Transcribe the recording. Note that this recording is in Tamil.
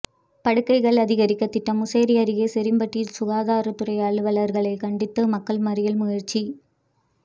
படுக்கைகள் அதிகரிக்க திட்டம் முசிறி அருகே சொரியம்பட்டியில் சுகாதாரத் துறை அலுவலர்களை கண்டித்து மக்கள் மறியல் முயற்சி